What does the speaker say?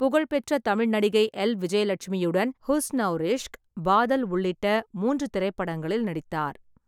புகழ்பெற்ற தமிழ் நடிகை எல். விஜயலட்சுமியுடன் ஹுஸ் அவுர் இஷ்க், பாதல் உள்ளிட்ட மூன்று திரைப்படங்களில் நடித்தார்.